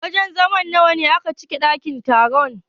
Wajen zama nawa ne a cikin dakin taron?